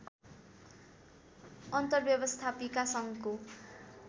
अन्तरव्यवस्थापिका सङ्घको